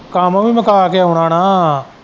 ਕੰਮ ਵੀ ਮੁਕਾ ਕੇ ਆਉਣਾ ਨਾ।